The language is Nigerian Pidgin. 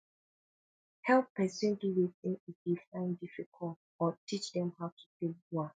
help persin do wetin e de find difficult or teach dem how to take do am